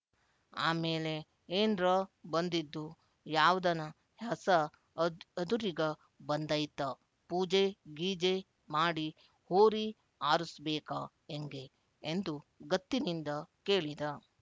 ಆಮೇಲೆ ಏನ್ರೊ ಬಂದಿದ್ದು ಯಾವ್ದನ ಹಸ ಅದುರಿಗ ಬಂದೈತ ಪೂಜೆ ಗೀಜೆ ಮಾಡಿ ಹೋರಿ ಆರುಸ್ಬೇಕಾ ಎಂಗೆ ಎಂದು ಗತ್ತಿನಿಂದ ಕೇಳಿದ